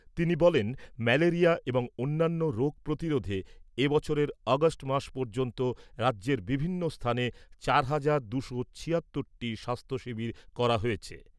তিনি বলেন, ম্যালেরিয়া এবং অন্যান্য রোগ প্রতিরোধে এ বছরের আগস্ট মাস পর্যন্ত রাজ্যের বিভিন্ন স্থানে চার হাজার দুশো ছিয়াত্তরটি টি স্বাস্থ্য শিবির করা হয়েছে।